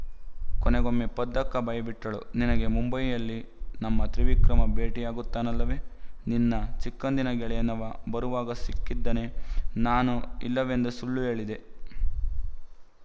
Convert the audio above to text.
ಕೊನೆಗೊಮ್ಮೆ ಪದ್ದಕ್ಕ ಬಾಯಿ ಬಿಟ್ಟಳು ನಿನಗೆ ಮುಂಬಯಿಯಲ್ಲಿ ನಮ್ಮ ತ್ರಿವಿಕ್ರಮ ಭೆಟ್ಟಿಯಾಗುತ್ತಾನಲ್ಲವೇ ನಿನ್ನ ಚಿಕ್ಕಂದಿನ ಗೆಳೆಯನವ ಬರುವಾಗ ಸಿಕ್ಕಿದ್ದನೇ ನಾನು ಇಲ್ಲವೆಂದು ಸುಳ್ಳು ಹೇಳಿದೆ